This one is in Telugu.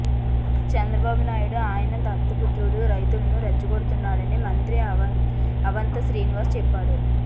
చంద్రబాబునాయుడు ఆయన దత్తపుత్రుడు రైతులను రెచ్చగొడుతున్నారని మంత్రి అవంతి శ్రీనివాస్ చెప్పారు